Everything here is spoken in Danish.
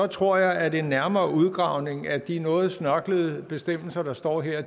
tror jeg at en nærmere udredning af de noget snørklede bestemmelser der står her